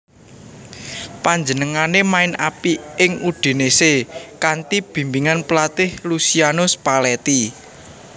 Panjenengané main apik ing Udinese kanthi bimbingan pelatih Luciano Spalletti